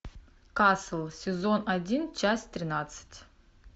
касл сезон один часть тринадцать